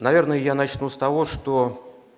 наверное я начну с того что